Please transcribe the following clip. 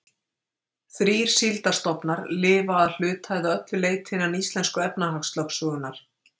Þrír síldarstofnar lifa að hluta eða öllu leyti innan íslensku efnahagslögsögunnar.